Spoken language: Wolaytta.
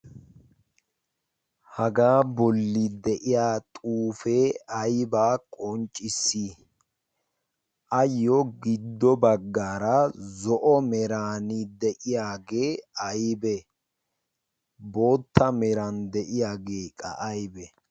hagaa bolli de'iya xuufee aybaa qonccissi ayyo giddo baggaara zo'o merani de'iyaagee aybe bootta meran de'iyaageeqa aybe?